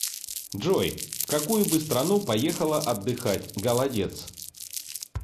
джой в какую бы страну поехала отдыхать голодец